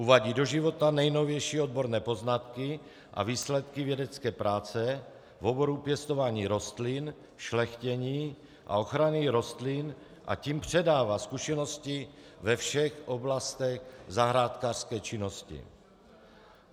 Uvádí do života nejnovější odborné poznatky a výsledky vědecké práce v oboru pěstování rostlin, šlechtění a ochrany rostlin, a tím předává zkušenosti ve všech oblastech zahrádkářské činnosti.